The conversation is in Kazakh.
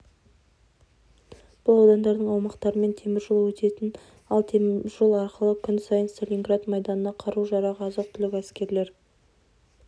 бұл аудандардың аумақтарымен теміржол өтетін ал теміржол арқылы күн сайын сталинград майданына қару-жарақ азық-түлік әскерлер